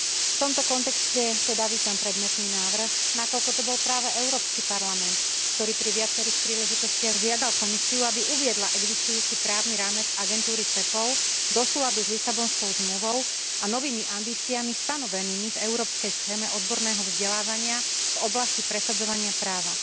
V tomto kontexte teda vítam predmetný návrh, nakoľko to bol práve Európsky parlament, ktorý pri viacerých príležitostiach žiadal Komisiu, aby uviedla existujúci právny rámec agentúry Cepol do súladu s Lisabonskou zmluvou a novými ambíciami stanovenými v európskej schéme odborného vzdelávania v oblasti presadzovania práva.